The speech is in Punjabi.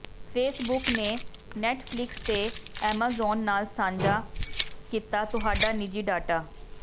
ਫੇਸਬੁੱਕ ਨੇ ਨੈੱਟਫਲਿਕਸ ਤੇ ਐਮਾਜ਼ੋਨ ਨਾਲ ਸਾਂਝਾ ਕੀਤਾ ਤੁਹਾਡਾ ਨਿੱਜੀ ਡਾਟਾ